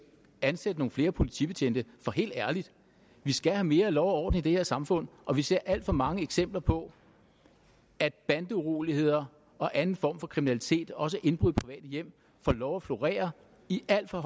ansætte nogle flere politibetjente for helt ærligt vi skal have mere lov og orden i det her samfund og vi ser alt for mange eksempler på at bandeuroligheder og anden form for kriminalitet også indbrud i private hjem får lov at florere i al for